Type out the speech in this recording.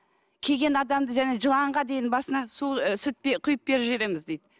келген адамды жаңағы жыланға дейін басынан су і сүт пе құйып беріп жібереміз дейді